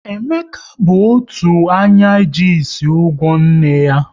Emeka bụ otu anya ji ịsị ụgwọ nne ya